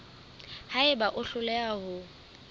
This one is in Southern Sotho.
ha eba o hloleha ho